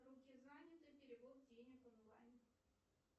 руки заняты перевод денег онлайн